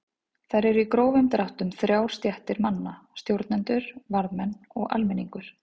Þar eru í grófum dráttum þrjár stéttir manna: Stjórnendur, varðmenn og almenningur.